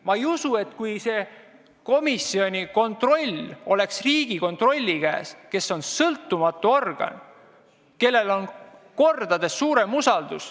Ma ei usu, et oleks halb, kui see kontroll poleks parteide või poliitikute käes, vaid Riigikontrolli käes, kes on sõltumatu organ, kelle vastu on kordades suurem usaldus.